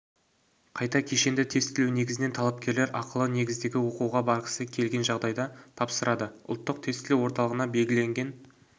қайта кешенді тестілеу негізінен талапкерлер ақылы негіздегі оқуға барғысы келген жағдайда тапсырады ұлттық тестілеу орталығына белгіленген